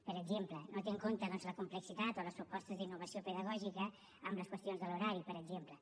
per exemple no té en compte doncs la complexitat o les propostes d’innovació pedagògica en les qüestions de l’horari per exemple